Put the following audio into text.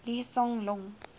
lee hsien loong